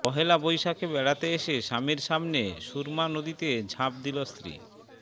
পহেলা বৈশাখে বেড়াতে এসে স্বামীর সামনে সুরমা নদীতে ঝাঁপ দিল স্ত্রী